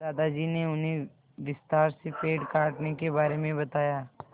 दादाजी ने उन्हें विस्तार से पेड़ काटने के बारे में बताया